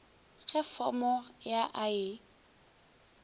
ge fomo ya a e